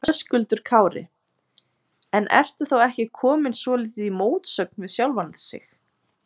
Höskuldur Kári: En ertu þá ekki kominn svolítið í mótsögn við sjálfan sig?